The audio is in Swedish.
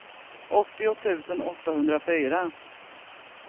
åttio tusen åttahundrafyra